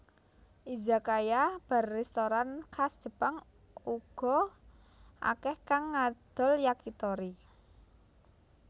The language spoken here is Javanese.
Izakaya bar restoran khas Jepang uga akèh kang ngadol Yakitori